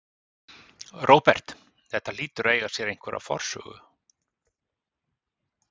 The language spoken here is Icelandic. Róbert: Þetta hlýtur að eiga sér einhverja forsögu?